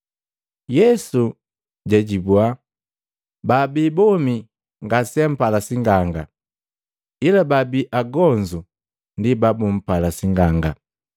Yesu jaajibua, “Babii bomi ngaseampala sing'anga, ila baabi agonzu ndi babumpala sing'anga.